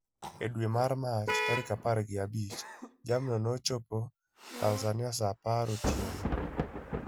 E dwe mar Mach tarik apar gi abich, jamno nochopo Tanzania sa apar otieno.